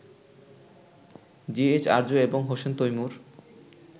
GH Arzu এবং হোসেন তৈমূর